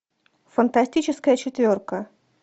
фантастическая четверка